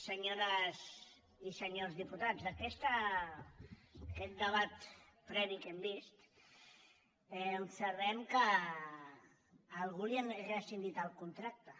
senyores i senyors diputats en aquest debat previ que hem vist observem que a al·gú li han rescindit el contracte